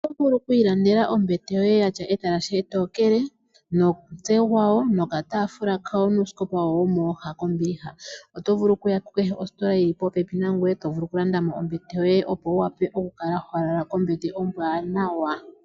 Oto vulu okwiiyendela ombete yoye yatya etalashe etookele , omutse gwayo, okataafula, nuusikopa wayo womooha kombiliha. Oto vulu okuya kukehe ositola yili popepi nangoye eto vulu okulandamo ombete yoye eto vulu okukala walala kombete ombwaanawa.